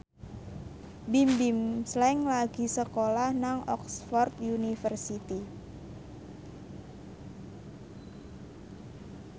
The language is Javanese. Bimbim Slank lagi sekolah nang Oxford university